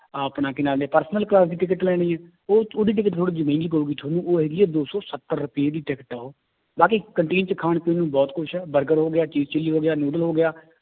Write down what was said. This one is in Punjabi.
ਆਪਣਾ ਕੀ ਨਾਂ ਲੈਂਦੇ ਹੈ personal class ਦੀ ਟਿਕਟ ਲੈਣੀ ਹੈ ਉਹ ਉਹਦੀ ਟਿਕਟ ਥੋੜ੍ਹੀ ਜਿਹੀ ਮਹਿੰਗੀ ਪਊਗੀ ਤੁਹਾਨੂੰ ਉਹ ਹੈਗੀ ਹੈ ਦੋ ਸੌ ਸੱਤਰ ਰੁਪਏ ਦੀ ਟਿਕਟ ਹੈ ਉਹ, ਬਾਕੀ canteen ਚ ਖਾਣ ਪੀਣ ਨੂੰ ਬਹੁਤ ਕੁਛ ਹੈ ਬਰਗਰ ਹੋ ਗਿਆ ਚੀਜ਼ ਚਿੱਲੀ ਹੋ ਗਿਆ ਨੂਡਲ ਹੋ ਗਿਆ